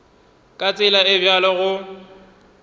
ka tsela e bjalo go